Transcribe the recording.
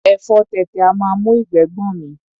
Ẹ̀fọ tètè a máa mú ìgbẹ́ gbọ̀n mí.